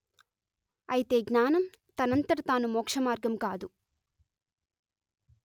అయితే జ్ఞానం తనంతట తాను మోక్షమార్గం కాదు